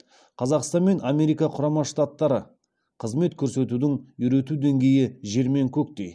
қазақстан мен америка құрама штаттары қызмет көрсетудің үйрету деңгейі жер мен көктей